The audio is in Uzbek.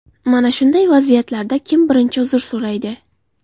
Mana shunday vaziyatlarda kim birinchi uzr so‘raydi?